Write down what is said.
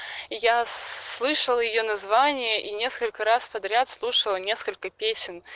я слышала её название и несколько раз подряд слушала несколько песен